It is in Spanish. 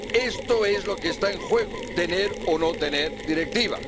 Esto es lo que está en juego, tener o no tener directiva.